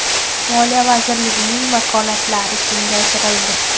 Moliya vazirligining vakolatlari kengaytirildi.